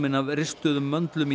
af ristuðum möndlum í